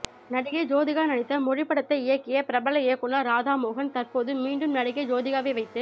நடிகை ஜோதிகா நடித்த மொழி படத்தை இயக்கிய பிரபல இயக்குனர் ராதா மோகன் தற்போது மீண்டும் நடிகை ஜோதிகாவை வைத்து